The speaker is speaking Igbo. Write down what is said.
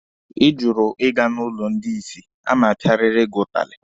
Ị jụrụ ịga n'ụlọ ndị isi, a ma-apịarịrị gị ụtalị!